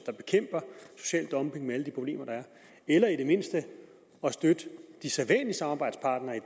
dumping med alle de problemer der er eller i det mindste at støtte de sædvanlige samarbejdspartnere i